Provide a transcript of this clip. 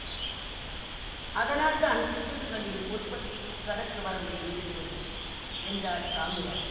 அதனால்தான் பிசகுகளின் உற்பத்திக்கு கணக்கு வரம்பை மீறுகிறது என்றார் சாமியார்